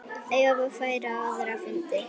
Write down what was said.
Eva fer á aðra fundi.